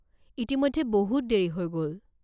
ইতিমধ্যে বহুত দেৰি হৈ গ'ল।